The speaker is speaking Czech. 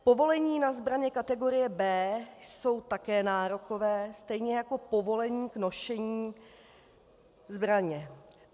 Povolení na zbraně kategorie B jsou také nárokové, stejně jako povolení k nošení zbraně.